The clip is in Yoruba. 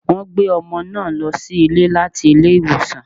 Wọ́n gbé ọmọ náà lọ sílé láti ilé ìwòsàn